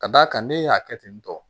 Ka d'a kan ne y'a kɛ ten tɔ